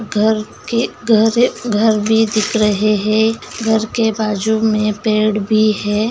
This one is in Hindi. घर के घर- घर भी दिख रहे हैं घर के बाजू में पेड़ भी है।